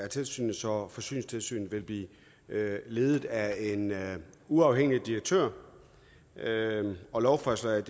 tilsynet så forsyningstilsynet vil blive ledet af en uafhængig direktør og lovforslaget